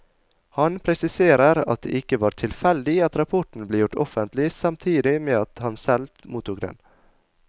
Han presiserer at det ikke var tilfeldig at rapporten ble gjort offentlig samtidig med at han selv mottok den.